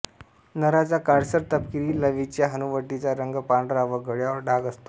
नराचा काळसर तपकिरी लावीच्या हनुवटीचा रंग पांढरा व गळ्यावर डाग असतो